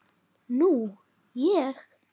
Nú ég.